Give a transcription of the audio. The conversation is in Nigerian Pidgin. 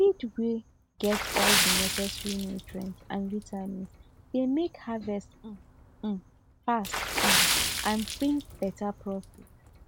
feed wey get all the neccesary nutrients and vitamins dey make harvest um um fast um and bring better profit